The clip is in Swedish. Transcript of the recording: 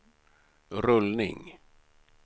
rullning